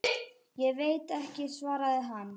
Ég veit ekki, svaraði hann.